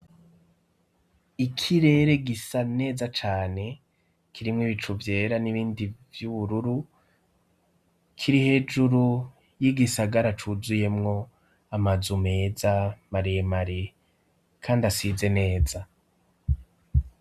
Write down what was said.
Ikirere gisa neza cane kirimw' ibicu vyera n'ibindi vy'ubururu, kiri hejuru y'igisagara cuzuyemwo amazu meza ,maremare kand'asize neza.